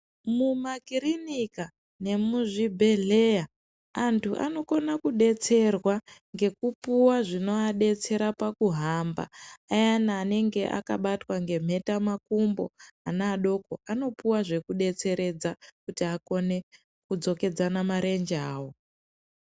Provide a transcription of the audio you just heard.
Mumakirinika nemuzvibhedhleya antu anokona kudetserwa ngekupuwa zvinoadetsera pakuhamba ayani anenge akabatwa ngenheta makumbo ana adoko anopuwa zvekudetseredza kuti akone kudzokedzana marenje awo.